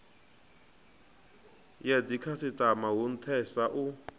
ya dzikhasitama hu nthesa u